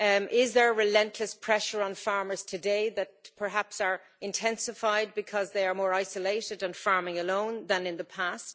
Is there relentless pressure on farmers today that perhaps is intensified because they are more isolated and farming alone more than in the past?